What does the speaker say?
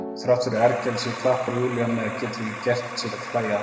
Og þrátt fyrir ergelsið klappar Júlía með, getur ekki að sér gert að hlæja.